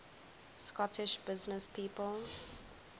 scottish businesspeople